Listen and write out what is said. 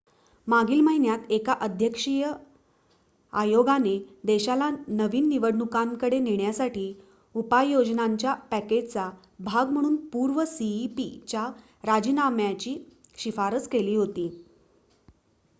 मागील महिन्यात एका अध्यक्षीय आयोगाने देशाला नवीन निवडणुकांकडे नेण्यासाठी उपाययोजनांच्या पॅकेजचा भाग म्हणून पूर्व सीईपी च्या राजीनाम्याची शिफारस केली होती